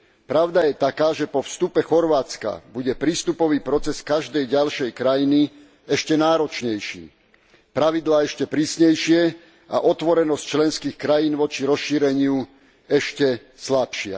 Pravda je taká, že po vstupe Chorvátska bude prístupový proces každej ďalšej krajiny ešte náročnejší, pravidlá ešte prísnejšie a otvorenosť členských krajín voči rozšíreniu ešte slabšia.